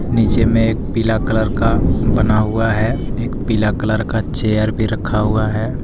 नीचे में एक पीला कलर का बना हुआ है एक पीला कलर का चेयर भी रक्खा हुआ है।